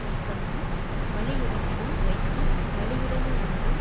நீக்காமை வலியுடைமையுள் வைத்து வலியுடைமையாவது